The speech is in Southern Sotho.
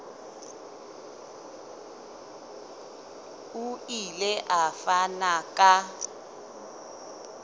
o ile a fana ka